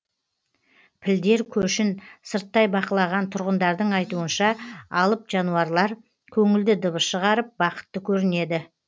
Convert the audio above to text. пілдер көшін сырттай бақылаған тұрғындардың айтуынша алып жануарлар көңілді дыбыс шығарып бақытты көрінеді